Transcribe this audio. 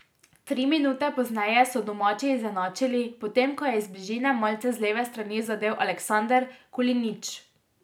Tri minute pozneje so domači izenačili, potem ko je iz bližine malce z leve strani zadel Aleksandr Kulinitš.